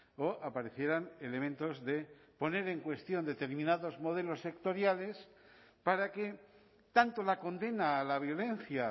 o aparecieran elementos de poner en cuestión determinados modelos sectoriales para que tanto la condena a la violencia